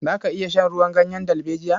Za ka iya shan ruwan ganyen dalbejiya?